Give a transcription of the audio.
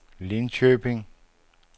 Linköping